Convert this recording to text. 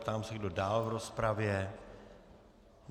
Ptám se, kdo dál v rozpravě.